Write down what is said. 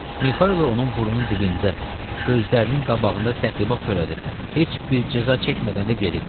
Mixaylo onun burnunun dibində, gözlərinin qabağında təxribat törədib, heç bir cəza çəkmədən də gedib.